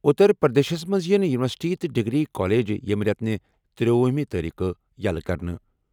اُتر پرٛدیشس منٛز یِن یوٗنیورسٹی تہٕ ڈگری کالج ییٚمہِ رٮٮ۪تہٕ تِرٛوُہمہِ تٲریٖخہ یلہ کرنہٕ۔